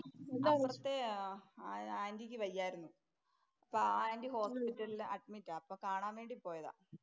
അപ്പുറത്തെ ആന്‍റിക്ക് വയ്യായിരുന്നു. അപ്പൊ ആ ആന്‍റി ഹോസ്പിറ്റലില്‍ അഡ്മിറ്റാ. അപ്പൊ കാണാന്‍ വേണ്ടീ പോയതാ.